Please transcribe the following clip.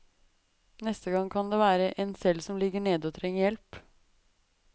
Neste gang kan det være en selv som ligger nede og trenger hjelp.